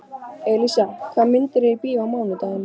Elísa, hvaða myndir eru í bíó á mánudaginn?